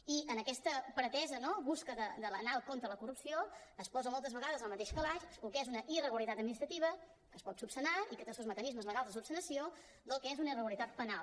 i en aquesta pretesa no recerca d’anar contra de la corrupció es posen moltes vegades al mateix calaix el que és una irregularitat administrativa que es pot solucionar i que té els seus mecanismes legals de solució i el que és una irregularitat penal